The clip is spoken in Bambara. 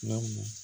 Lamu